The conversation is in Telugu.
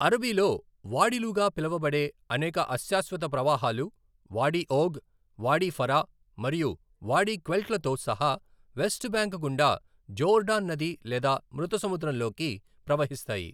అరబిలో వాడిలుగా పిలువబడే అనేక అశాశ్వత ప్రవాహాలు, వాడి ఓగ్, వాడి ఫరా మరియు వాడి క్వెల్ట్లతో సహా వెస్ట్ బాంక్ గుండా జోర్డాన్ నది లేదా మృత సముద్రం లోకి ప్రవహిస్తాయి.